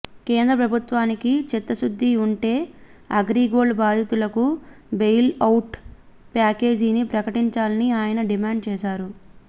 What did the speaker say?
కేంద్ర ప్రభుత్వానికి చిత్తశుద్ది ఉంటే అగ్రిగోల్డ్ బాధితులకు బెయిల్ ఔట్ ప్యాకేజీని ప్రకటించాలని ఆయన డిమాండ్ చేశారు